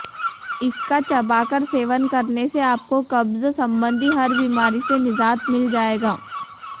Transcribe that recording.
इसका चबाकर सेवन करने से आपको कब्ज संबंधी हर बीमारी से निजात मिल जाएगा